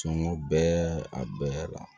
Sɔngɔ bɛɛ a bɛɛ la